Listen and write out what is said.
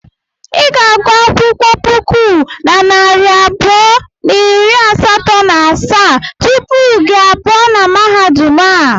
I ga-agụ akwụkwọ puku na narị abụọ na iri asatọ na asaa tupu gị a pụọ na mahadum a.